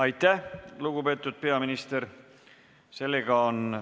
Aitäh, lugupeetud peaminister!